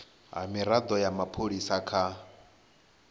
ha mirado ya mapholisa kha